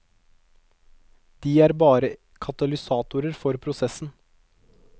De er bare katalysatorer for prosessen.